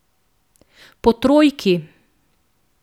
Po trojki.